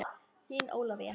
Þín Ólafía.